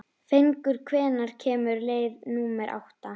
Fengur, hvenær kemur leið númer átta?